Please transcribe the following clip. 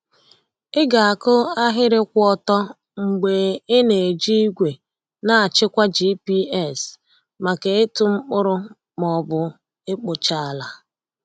Ị ga-akụ ahịrị kwụ ọtọ mgbe ị na-eji igwe na-achịkwa GPS maka ịtụ mkpụrụ ma ọ bụ ịkpụcha ala. um